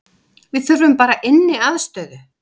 Við þurfum bara inniaðstöðu